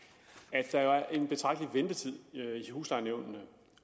at der er en betragtelig ventetid i huslejenævnene